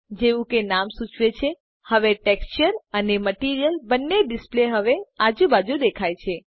જેવું કે નામ સૂચવે છે હવે ટેક્સચર અને મટીરીઅલ બંને ડિસ્પ્લે હવે આજુ બાજુ દેખાય છે